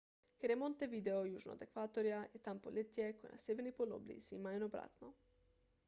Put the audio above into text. ker je montevideo južno od ekvatorja je tam poletje ko je na severni polobli zima in obratno